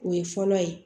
O ye fɔlɔ ye